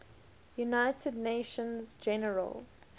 united nations general